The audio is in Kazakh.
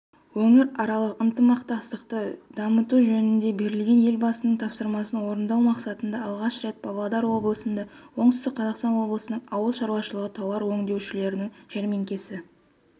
өңіраралық ынтымақтастықты дамытужөнінде берілген елбасының тапсырмасын орындау мақсатында алғаш рет павлодар облысында оңтүстік қазақстан облысының ауыл шаруашылығы тауар өндірушілерінің жәрмеңкесі